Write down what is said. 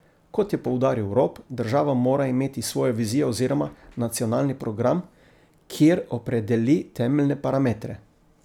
Kot je poudaril Rop, država mora imeti svojo vizijo oziroma nacionalni program, kjer opredeli temeljne parametre.